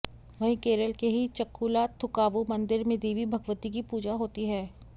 वहीं केरल के ही चक्कूलाथूकावु मंदिर में देवी भगवती की पूजा होती है